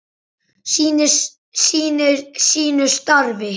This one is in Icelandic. Sinnir sínu starfi.